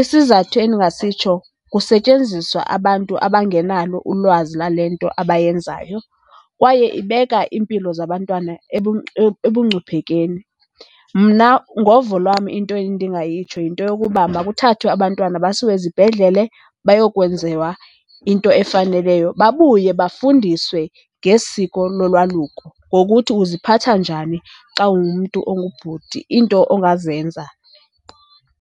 Isizathu endingasitsho kusetyenziswa abantu abangenalo ulwazi lwale nto abayenzayo kwaye ibeka iimpilo zabantwana ebungcuphekeni. Mna ngovo lwam into endingayitsho yinto yokuba makuthathwe abantwana basiwe ezibhedlele bayokwenziwa into efaneleyo babuye bafundiswe ngesiko lolwaluko, ngokuthi uziphatha njani xa ungumntu ongubhuti, iinto ongazenza.